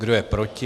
Kdo je proti?